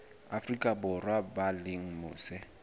afrika borwa ba leng mose